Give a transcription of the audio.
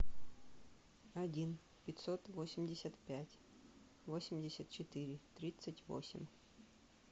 один пятьсот восемьдесят пять восемьдесят четыре тридцать восемь